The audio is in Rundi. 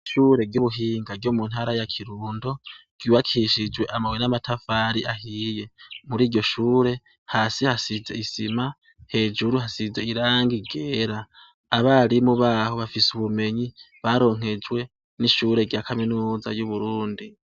ishure ry'ubuhinga ryo mu ntara ya kirundo ryubakishijwe amabuye n'amatafari ahiye muri iryo shure hasi hasize isima hejuru hasize iranga ryera abarimu baho bafise ubumenyi baronkejwe n'ishure rya kaminuza y'Uburundi